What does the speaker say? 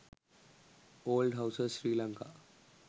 old houses sri lanka